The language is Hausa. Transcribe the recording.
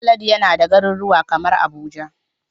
Halidu yana da garuruwa kamar Abuja.